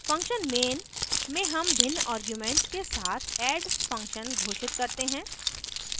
function main में हम भिन्न आर्ग्यूमेंट्स के साथ add function घोषित करते हैं